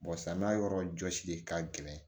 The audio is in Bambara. samiya yɔrɔ jɔsi de ka gɛlɛn